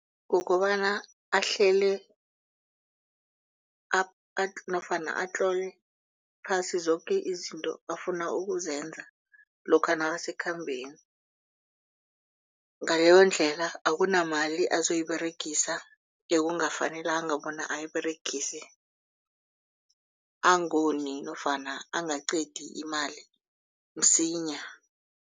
Kukobana ahlele nofana atlole phasi zoke izinto afuna ukuzenza lokha nakasekhambeni. Ngaleyondlela akunamali azoyiberegisa ekungafanelanga bona ayiberegise angoni nofana angaqedi imali msinya.